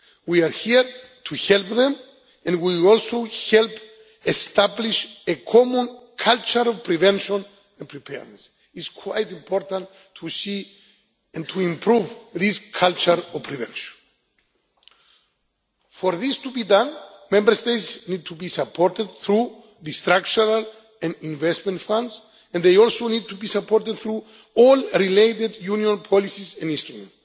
plans. We are here to help them and we will also help establish a common cultural prevention and preparedness. It is quite important to see and to improve this culture of prevention. For this to be done, Member States need to be supported through the Structural and Investment Funds, and they also need to be supported through all related Union policies and instruments.